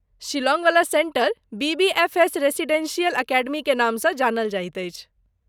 शिलांगवला centre BBFS residential अकेडमीके नामसँ जानल जाइत अछि।